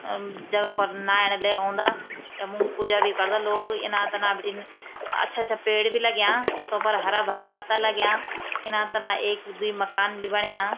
अम जगह पर नाएणा ले औंदा यम पूजा भी करदा लोग इना-तना बटीन अच्छा-अच्छा पेड़ ही लग्याँ तों पर हरा-भरा पत्ता लग्याँ इना-तना एक द्वि मकान भी बण्यां।